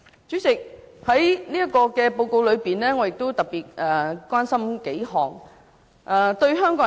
主席，在這份報告中，我特別關心數方面。